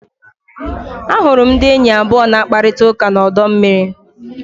Ahụrụ m ndị enyi abụọ na-akparịta ụka na ọdọ mmiri.